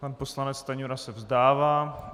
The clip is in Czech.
Pan poslanec Stanjura se vzdává.